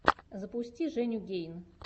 запусти женю гейн